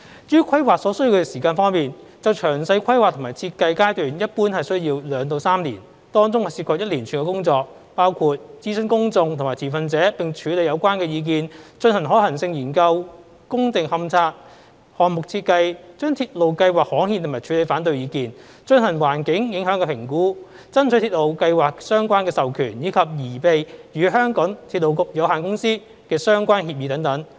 至於規劃所需要的時間方面，詳細規劃及設計階段一般需要2至3年，當中涉及一連串工作，包括諮詢公眾及持份者並處理有關的意見、進行可行性研究、工地勘察、項目設計、把鐵路計劃刊憲及處理反對意見、進行環境影響評估、爭取鐵路計劃的相關授權，以及擬備與香港鐵路有限公司的相關協議等。